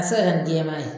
A bɛ se ka kɛ ni jɛman ye